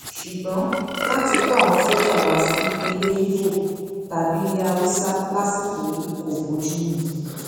ṣùgbọn láti kó àwọn sójà wá sí ilé ibo tàbí ilé haúsá lásìkò yìí kò bójú mu